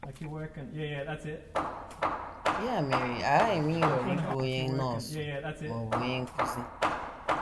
Ya mere, aghaghị m ịhọrọ ịbụ onye nọọsụ ma ọ bụ onye nkụzi.